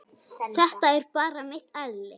Þetta er bara mitt eðli.